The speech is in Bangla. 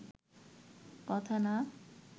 কথা না